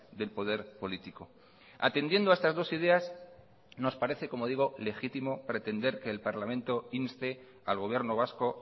del poder político atendiendo a estas dos ideas nos parece como digo legítimo pretender que el parlamento inste al gobierno vasco